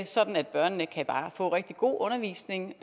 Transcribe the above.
sådan at børnene kan få rigtig god undervisning